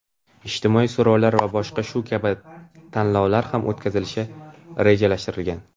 ijtimoiy so‘rovlar va boshqa shu kabi tanlovlar ham o‘tkazilishi rejalashtirilgan.